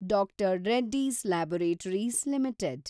D R Reddy's Laboratories limited